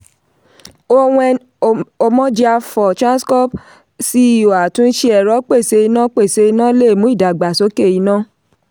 owen omojiafor transcorp ceo atunṣe ẹrọ pèsè iná pèsè iná lè mú ìdàgbàsókè iná.